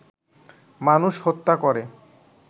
মানুষ হত্যা করে